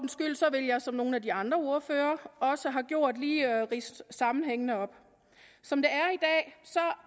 vil jeg som nogle af de andre ordførere også har gjort lige ridse sammenhængene op som det